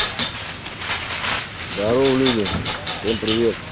здорово люди всем привет